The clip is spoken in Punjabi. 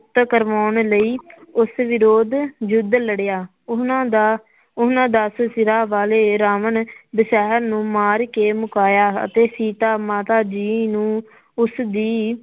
ਕਰਵਾਉਣ ਲਈ ਉਸ ਵਿਰੋਧ ਯੁੱਧ ਲੜਿਆ, ਉਹਨਾਂ ਦਾ ਉਹਨਾਂ ਦਸ ਸਿਰਾਂ ਵਾਲੇ ਰਾਵਣ ਨੂੰ ਮਾਰ ਕੇ ਮੁਕਾਇਆ ਅਤੇ ਸੀਤਾ ਮਾਤਾ ਜੀ ਨੂੰ ਉਸਦੀ।